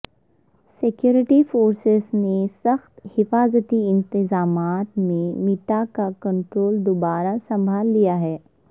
security forces نے سخت حفاظتی انتظامات میں مٹہ کا کنٹرول دوبارہ سنبھال لیا ہے